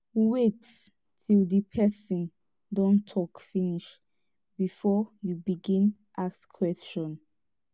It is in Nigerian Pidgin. wait til di pesin don tok finish bifor you begin ask question